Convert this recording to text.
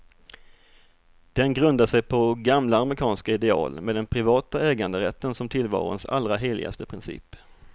Den grundar sig på gamla amerikanska ideal, med den privata äganderätten som tillvarons allra heligaste princip.